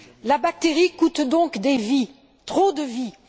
La bactérie coûte donc des vies, trop de vies.